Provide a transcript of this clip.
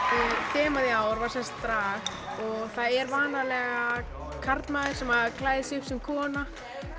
þemað í ár var drag og það er vanalega karlmaður sem klæðir sig upp sem kona